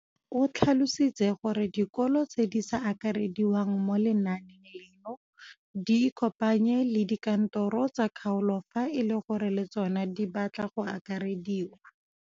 O tlhalositse gore dikolo tse di sa akarediwang mo lenaaneng leno di ikopanye le dikantoro tsa kgaolo fa e le gore le tsona di batla go akarediwa.